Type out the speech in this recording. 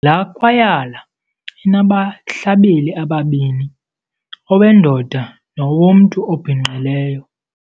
Laa kwayala inabahlabeli ababini, owendoda nowomntu obhinqileyo.